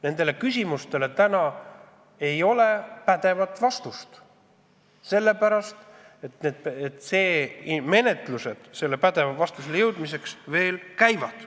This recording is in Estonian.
Nendele küsimustele ei ole praegu pädevat vastust, sest et menetlused pädeva vastuseni jõudmiseks veel käivad.